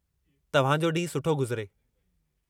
तव्हांजो ॾींहुं सुठो गुज़रे!